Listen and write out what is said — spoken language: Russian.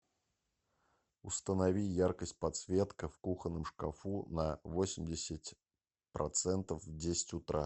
установи яркость подсветка в кухонном шкафу на восемьдесят процентов в десять утра